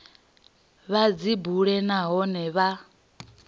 vha dzi bule nahone vha